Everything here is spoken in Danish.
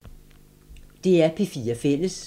DR P4 Fælles